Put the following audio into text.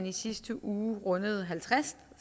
i sidste uge rundede halvtreds